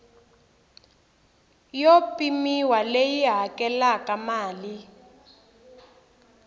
yo pimiwa leyi hakelaka mali